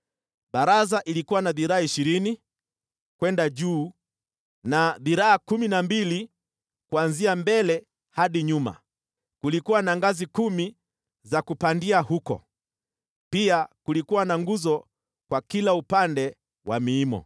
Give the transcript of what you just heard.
Baraza ilikuwa na dhiraa ishirini kwenda juu na dhiraa kumi na mbili kuanzia mbele hadi nyuma. Kulikuwa na ngazi kumi za kupandia huko, pia kulikuwa na nguzo kwa kila upande wa miimo.